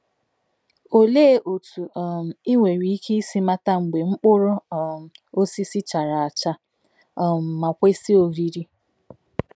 Olee otú um i nwere ike isi mata mgbe mkpụrụ um osisi chara acha um ma kwesị oriri?